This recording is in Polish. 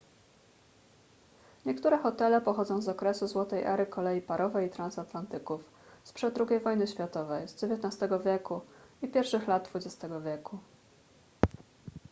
niektóre hotele pochodzą z okresu złotej ery kolei parowej i transatlantyków sprzed ii wojny światowej z xix wieku i pierwszych lat xx wieku